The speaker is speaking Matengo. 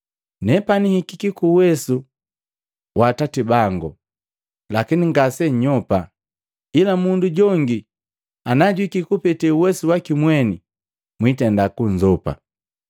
Nepani hikiki kuuwesu Atati bango, lakini ngasennyopa. Ila mundu jongi najuhikiki kupete uwesu wakimweni mwitenda kunzopa.